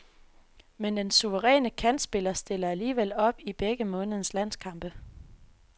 Men den suveræne kantspiller stiller alligevel op i begge månedens landskampe.